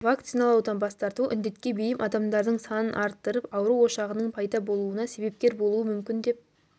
вакциналаудан бас тарту індетке бейім адамдардың санын арттырып ауру ошағының пайда болуына себепкер болуы мүмкін деп